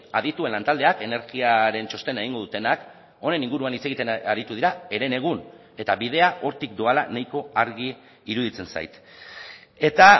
adituen lantaldeak energiaren txostena egingo dutenak honen inguruan hitz egiten aritu dira herenegun eta bidea hortik doala nahiko argi iruditzen zait eta